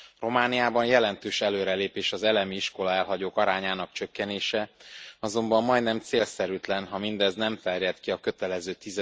Romániában jelentős előrelépés az elemiiskola elhagyók arányának csökkenése, azonban majdnem célszerűtlen, ha mindez nem terjed ki a kötelező